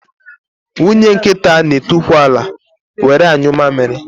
Nwunye nkịta n'etukwu ala were anyụ amịrị